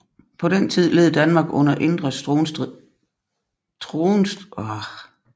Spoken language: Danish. På den tid led Danmark under indre tronstridigheder